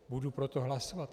Budu pro to hlasovat.